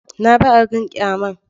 Na ga abin ƙyaman.